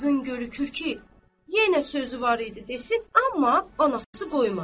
Qızın görünür ki, yenə sözü var idi desin, amma anası qoymadı.